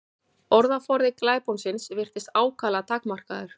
Orðaforði glæponsins virtist ákaflega takmarkaður.